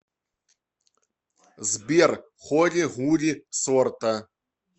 сбер холи гулли сорта